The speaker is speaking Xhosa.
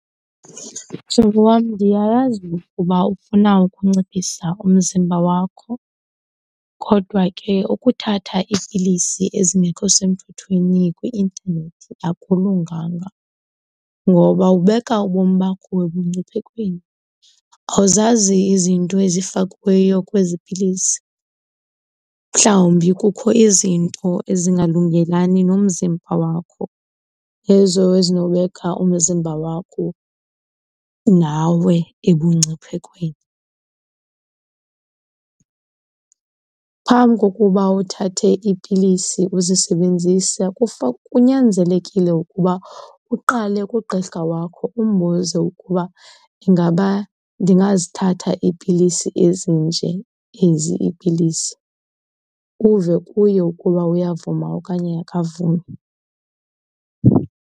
Mhlobo wam, ndiyayazi ukuba ufuna ukunciphisa umzimba wakho kodwa ke ukuthatha iipilisi ezingekho semthethweni kwi-intanethi akulunganga ngoba ubeka ubomi bakho ebungciphekweni. Awuzazi izinto ezifakiweyo kwezi pilisi, mhlawumbi kukho izinto ezingalungelani nomzimba wakho ezo ezinobeka umzimba wakho nawe ebungciphekweni. Phambi kokuba uthathe iipilisi uzisebenzise kunyanzelekile ukuba uqale kugqirha wakho umbuze ukuba ingaba ndingazithatha iipilisi ezinje ezi iipilisi, uve kuye ukuba uyavuma okanye akavumi.